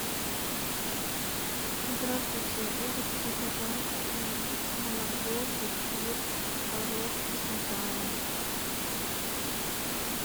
здравствуйте я хочу заказать молоко кефир творог и сметану